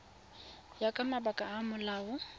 ya ka mabaka a molao